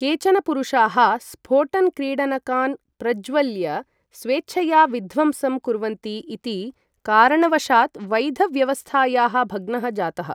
केचन पुरुषाः स्फोटन क्रीडनकान् प्रज्वल्य स्वेच्छया विध्वंसं कुर्वन्ति इति कारणवशात् वैध व्यवस्थायाः भग्नः जातः।